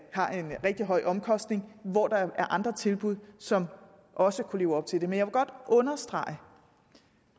har en rigtig høj omkostning hvor der er andre tilbud som også kunne leve op til det men jeg vil godt understrege